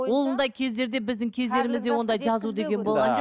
ондай кездерде біздің кездерімізде ондай жазу деген болған жоқ